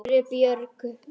spurði Björg.